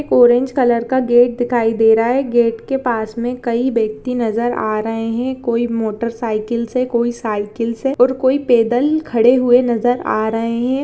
एक orange colour का gate दिखाई दे रहा है। गेट के पास में कई व्यक्ति नजर आ रहे हैं। कोई मोटरसाइकिल से कोई साइकिल से और कोई पैदल खड़े हुए नजर आ रहे हैं।